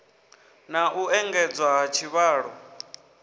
na u engedzwa ha tshivhalo